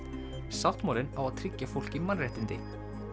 sáttmálinn á að tryggja fólki mannréttindi